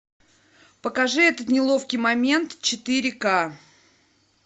покажи этот неловкий момент четыре ка